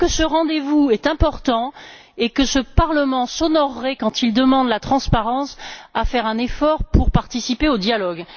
Je trouve que ce rendez vous est important et que ce Parlement s'honorerait, quand il demande la transparence, à faire un effort pour participer au dialogue.